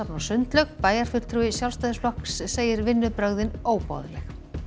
og sundlaug bæjarfulltrúi Sjálfstæðisflokks segir vinnubrögðin óboðleg